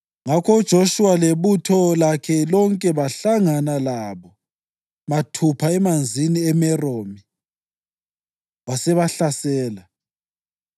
Izizukulwane zikaMerari ngensendo zazo zathola amadolobho alitshumi lambili ezizwaneni zakoRubheni, ezakoGadi lezakoZebhuluni.